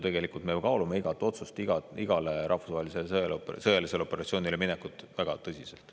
Tegelikult me kaalume igat otsust, igale rahvusvahelisele sõjalisele operatsioonile minekut väga tõsiselt.